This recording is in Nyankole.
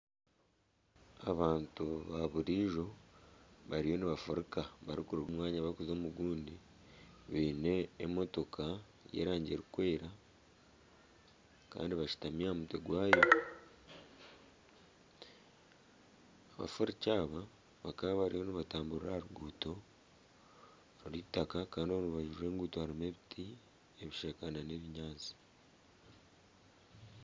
Abantu ba burijo bariyo nibafuruka bari kuruga omu mwanya barikuza omugundi. Baine emotoka y'erangi erikweera Kandi bashutami aha mutwe gwayo. Abafuruki aba bakaba bariyo nibatamburira aha ruguuto rw'itaka kandi omu rubaju rw'enguuto harimu ebiti, ebishaka nana ebinyaatsi.